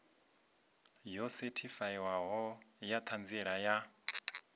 yo sethifaiwaho ya ṱhanziela ya